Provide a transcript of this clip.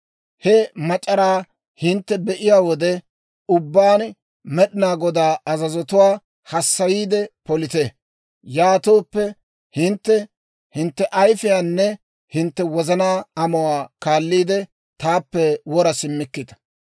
He mac'araa hintte be'iyaa wode ubbaan Med'inaa Godaa azazotuwaa hassayiide polite; yaatooppe, hintte hintte ayifiyaanne hintte wozanaa amuwaa kaalliide, taappe wora simmikkita.